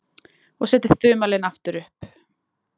Og setur þumalinn aftur upp.